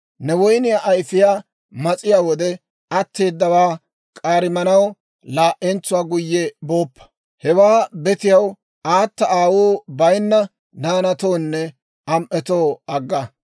Ne woyniyaa ayfiyaa mas'iyaa wode, atteedawaa k'aarimanaw laa"entsuwaa guyye booppa; hewaa betiyaw, aata aawuu bayinna naanatoonne am"etoo agga.